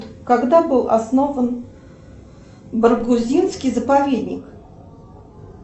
когда был основан баргузинский заповедник